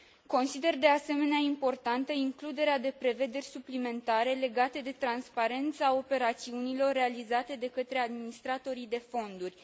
Consider, de asemenea, importantă includerea de prevederi suplimentare legate de transparența operațiunilor realizate de către administratorii de fonduri.